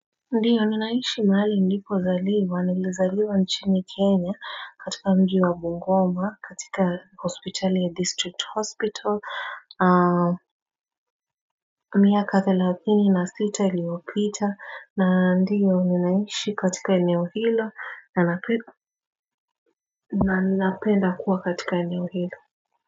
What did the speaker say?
Ndiyo, ninaishi mahali nilipozaliwa, nilizaliwa nchini Kenya katika mji wa Bungoma katika hospitali ya district hospital miaka thelathini na sita iliopita, na ndiyo ninaishi katika eneo hilo na ninapenda kuwa katika eneo hilo.